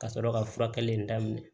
Ka sɔrɔ ka furakɛli daminɛ